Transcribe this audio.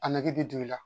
A nege bɛ don i la